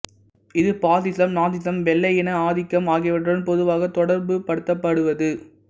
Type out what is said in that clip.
இது பாசிசம் நாசிசம் வெள்ளையின ஆதிக்கம் ஆகியவற்றுடன் பொதுவாக தொடர்புபடுத்தப்படுவது